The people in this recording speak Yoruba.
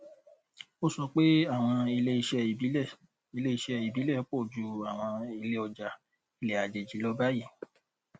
ó sọ pé àwọn iléiṣẹ ìbílẹ iléiṣẹ ìbílẹ pọ ju àwọn iléọjà ilẹ àjèjì lọ báyìí